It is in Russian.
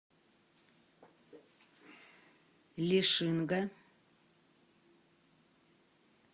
лишинга